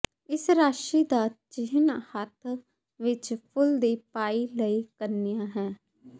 ਇਸ ਰਾਸ਼ੀ ਦਾ ਚਿਹਨ ਹੱਥ ਵਿੱਚ ਫੁਲ ਦੀ ਪਾਈ ਲਈ ਕੰਨਿਆ ਹੈ